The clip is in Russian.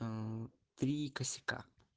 м три косяка